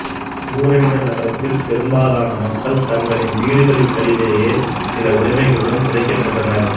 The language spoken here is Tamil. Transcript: ஊர் என்ற நகரத்தில் பெரும்பாலான மக்கள் தங்களின் வீடுகளுக்கடியிலேயே சில உடைமைகளுடன் புதைக்கப்பட்டனர்